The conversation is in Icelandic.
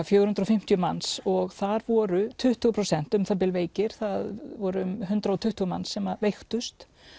fjögur hundruð og fimmtíu manns og þar voru tuttugu prósent umþb veikir það voru um hundrað og tuttugu manns sem veiktust